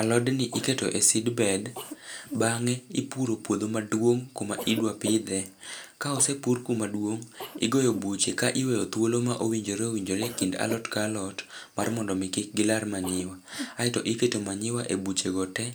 Alodni iketo e seedbed, bang'e, ipuro puodho maduong' kuma idwa pidhe. Ka osepur kumaduong',igoyo buche ka iweyo thuolo ma owinjore owinjore e kind alot ka alot ,mar mondo kik gilar manyiwa. Aeto iketo manyowa e buchego te